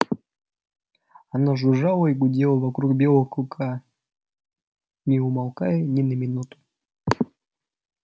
оно жужжало и гудело вокруг белого клыка не умолкая ни на минуту